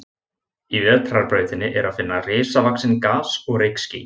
Í Vetrarbrautinni er að finna risavaxin gas- og rykský.